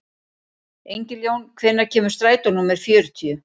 Engiljón, hvenær kemur strætó númer fjörutíu?